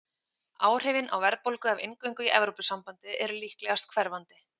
Áhrifin á verðbólgu af inngöngu í Evrópusambandið eru líklegast hverfandi.